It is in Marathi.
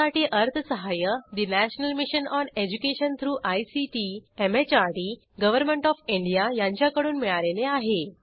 यासाठी अर्थसहाय्य national mission on education through ICT MHRD government of India यांच्याकडून मिळालेले आहे